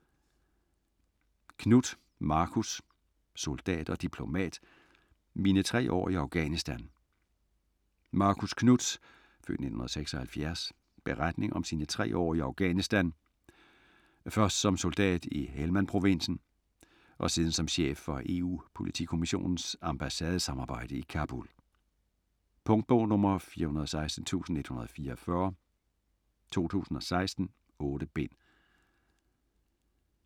Knuth, Marcus: Soldat og diplomat: mine tre år i Afghanistan Marcus Knuths (f. 1976) beretning om sine tre år i Afghanistan, først som soldat i Helmand-provinsen og siden som chef for EU-Politimissionens ambassadesamarbejde i Kabul. Punktbog 416144 2016. 8 bind.